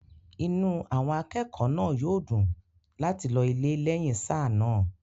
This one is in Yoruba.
inú àwọn akẹ́kọ̀ọ́ náà yóò dùn láti lọ ilé lẹ́yìn sáà náà